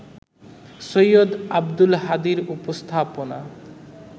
সৈয়দ আব্দুল হাদীর উপস্থাপনা